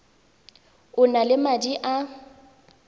o na le madi a